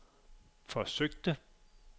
forsøgte